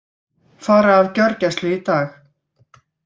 Fara af gjörgæslu í dag